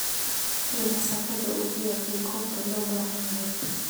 hel masaafada ugu yar ee goobta loo baahan yahay